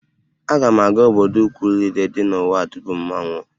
Aga m aga obodo ukwu niile dị n'ụwa tupu m anwụọ